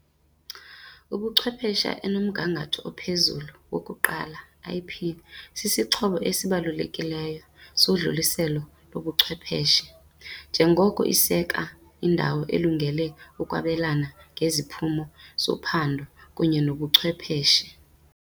ubuchwepheshe enomgangatho ophezulu wokuqonda, IP, sisixhobo esibalulekileyo sodluliselo lobuchwepheshe, njengoko iseka indawo elungele ukwabelana ngeziphumo zophando kunye nobuchwepheshe.